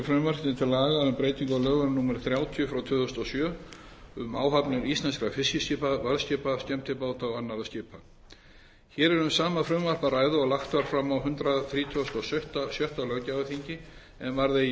frumvarpi til laga um breytingu á lögum númer þrjátíu tvö þúsund og sjö um áhafnir íslenskra fiskiskipa varðskipa skemmtibáta og annarra skipa hér er um sama frumvarp að ræða og lagt var fram á hundrað þrítugasta og sjötta löggjafarþingi en varð eigi